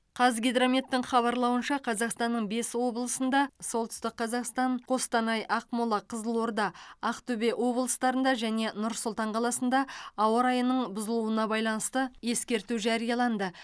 қазгидрометтің хабарлауынша қазақстанның бес облысында солтүстік қазақстан қостанай ақмола қызылорда ақтөбе облыстарында және нұр сұлтан қаласында ауа райының бұзылуына байланысты ескерту жарияланды